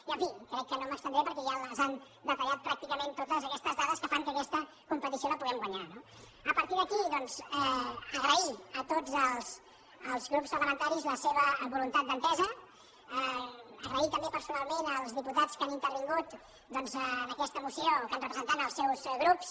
i en fi crec que no m’estendré perquè ja les han detallat pràcticament totes aquestes dades que fan que aquesta competició la puguem guanyar no a partir d’aquí doncs agrair a tots els grups parlamentaris la seva voluntat d’entesa donar les gràcies també personalment als diputats que han intervingut doncs en aquesta moció que han representat els seus grups